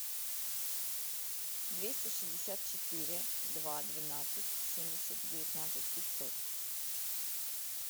двести шестьдесят четыре два двенадцать семьдесят девятнадцать пятьсот